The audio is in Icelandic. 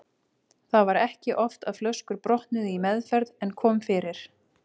Það var ekki oft að flöskur brotnuðu í meðferð en kom fyrir.